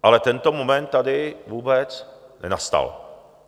Ale tento moment tady vůbec nenastal.